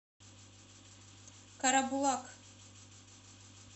карабулак